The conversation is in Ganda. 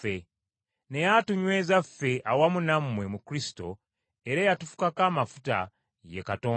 Naye atunyweza ffe awamu nammwe mu Kristo, era eyatufukako amafuta, ye Katonda,